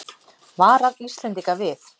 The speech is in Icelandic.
Varar Íslendinga við